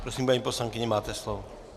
Prosím, paní poslankyně, máte slovo.